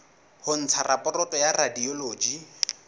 ho ntsha raporoto ya radiology